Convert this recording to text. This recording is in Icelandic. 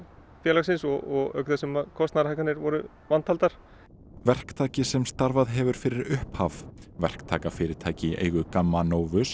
félagsins og auk þess sem kostnaðarhækkanir voru vantaldar verktaki sem starfað hefur fyrir upphaf verktakafyrirtæki í eigu GAMMA